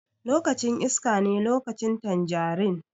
Lokacin iskane lokacin tanjarin.